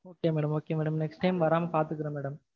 okay madam okay madam next time வராம பாத்துக்கறோம் madam.